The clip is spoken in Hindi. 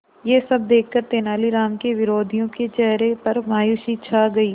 यह सब देखकर तेनालीराम के विरोधियों के चेहरे पर मायूसी छा गई